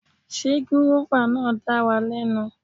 Sé gúrọ́fà náà dára lẹ́nu.